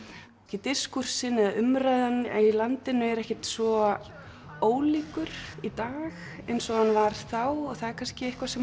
diskúrsinn eða umræðan í landinu er ekkert svo ólíkur í dag eins og hann var þá og það er kannski eitthvað sem